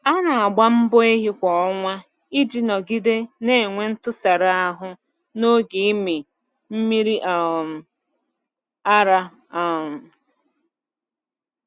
A na-agba mbọ ehi kwa ọnwa iji nọgide na-enwe ntụsara ahụ n'oge ịmị mmiri um ara. um